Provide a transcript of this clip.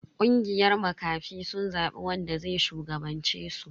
Kungiyar makafi sun zabi wanda zai shugabance su.